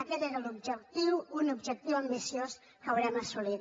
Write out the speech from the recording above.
aquest era l’objectiu un objectiu ambiciós que haurem assolit